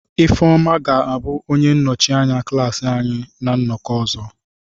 Ifeoma ga-abụ onye nnọchi anya klaasị anyị na nnọkọ ọzọ.